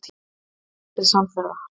Samt eru þeir aldrei samferða.